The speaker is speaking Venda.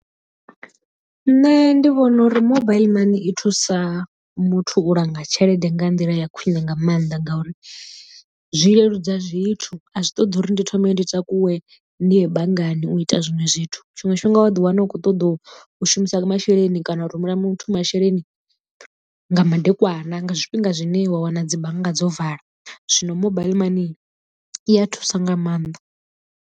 Nṋe ndi vhona uri mobaiḽi mani i thusa muthu u langa tshelede nga nḓila ya khwine nga maanḓa ngauri zwi leludza zwithu, a zwi ṱoḓi uri ndi thome ndi takuwe ndi ye banngani u ita zwiṅwe zwithu tshiṅwe tshifhinga wa ḓiwana u khou ṱoḓa u shumisa masheleni kana u rumela muthu masheleni nga madekwana nga zwifhinga zwine wa wana dzi bannga dzo vala zwino mobile mani i a thusa nga maanḓa.